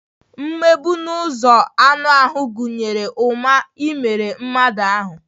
Mgbegbu n'ụzọ anụ ahụ gụnyere ụma imerụ mmadụ ahụ́